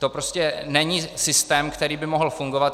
To prostě není systém, který by mohl fungovat.